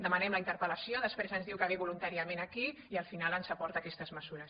demanem la interpel·lació després ens diu que ve voluntàriament aquí i al final ens aporta aquestes mesures